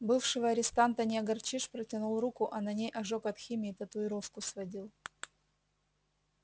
бывшего арестанта не огорчишь протянул руку а на ней ожог от химии татуировку сводил